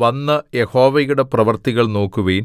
വന്ന് യഹോവയുടെ പ്രവൃത്തികൾ നോക്കുവിൻ